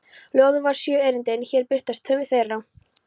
Ljóðið var sjö erindi en hér birtast tvö þeirra